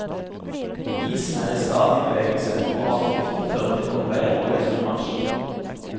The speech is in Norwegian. Isen er i stadig bevegelse, og avdriften fører til omveier og lengre marsj.